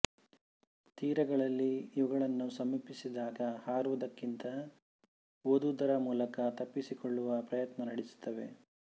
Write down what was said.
ತೀರಗಳಲ್ಲಿ ಇವುಗಳನ್ನು ಸಮೀಪಿಸಿದಾಗ ಹಾರುವುದಕ್ಕಿಂತಲೂ ಓದುವುದರ ಮೂಲಕ ತಪ್ಪಿಸಿಕೊಳ್ಳುವ ಪ್ರಯತ್ನ ನಡೆಸುತ್ತವೆ